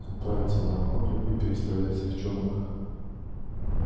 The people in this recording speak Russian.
отправиться на охоту и перестрелять всех черных